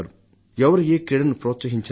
ఎవరు ఏ క్రీడను ప్రోత్సహించినా